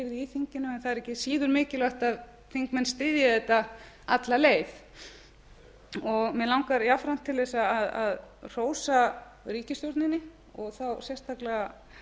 í þinginu en það er ekki síður mikilvægt að þingmenn styðji þetta alla leið mig langar jafnframt til að hrósa ríkisstjórninni og þá sérstaklega